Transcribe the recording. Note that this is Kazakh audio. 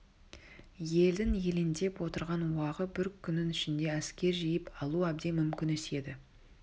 елдің елеңдеп отырған уағы бір күннің ішінде әскер жиып алу әбден мүмкін іс еді